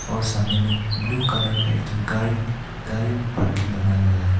और सामने में ब्लू कलर का एक चमकारिंग गाड़ी पार्किंग बना गया है।